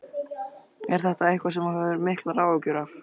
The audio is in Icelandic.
Er þetta eitthvað sem þú hefur miklar áhyggjur af?